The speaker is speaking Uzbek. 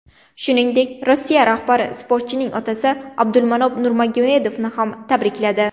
Shuningdek, Rossiya rahbari sportchining otasi Abdulmanop Nurmagomedovni ham tabrikladi.